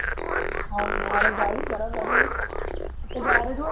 हाव का? आरे गाडी खराब झाली. आता गॅरेज वर